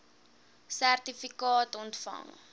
sertifikaat ontvang